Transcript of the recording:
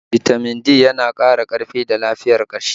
Bitamin D yana ƙara karfi da lafiyar ƙashi